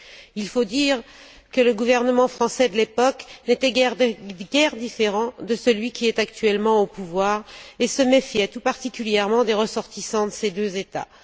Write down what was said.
Il faut dire que le gouvernement français de l'époque n'était guère différent de celui qui est actuellement au pouvoir et se méfiait tout particulièrement des ressortissants de ces deux États.